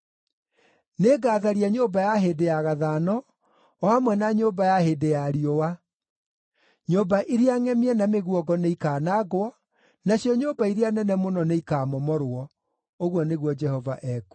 Nĩngatharia nyũmba ya hĩndĩ ya gathano, o hamwe na nyũmba ya hĩndĩ ya riũa; nyũmba iria ngʼemie na mĩguongo nĩikaanangwo, nacio nyũmba iria nene mũno nĩikamomorwo,” ũguo nĩguo Jehova ekuuga.